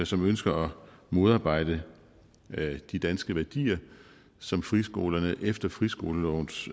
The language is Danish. som ønsker modarbejde de danske værdier som friskolerne efter friskolelovens